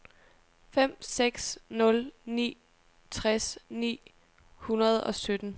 fem seks nul ni tres ni hundrede og sytten